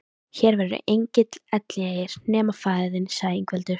Hér verður enginn elliær nema faðir þinn, sagði Ingveldur.